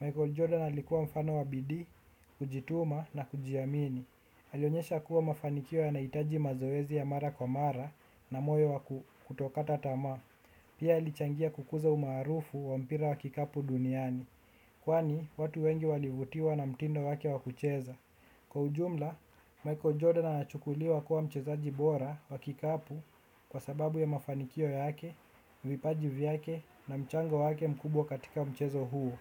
Michael Jordan alikuwa mfano wa bidii, kujituma na kujiamini. Alionyesha kuwa mafanikio yanahitaji mazoezi ya mara kwa mara na moyo wa kutokata tamaa. Pia alichangia kukuza umarufu wa mpira wa kikapu duniani. Kwani watu wengi walivutiwa na mtindo wake wakucheza. Kwa ujumla, Michael Jordan anachukuliwa kuwa mchezaji bora wa kikapu. Kwa sababu ya mafanikio yake, vipaji vyake na mchango wake mkubwa katika mchezo huo.